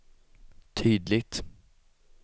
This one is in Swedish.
tydligt